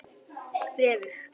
Refur